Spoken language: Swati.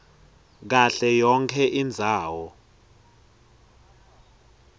kahle yonkhe indzawo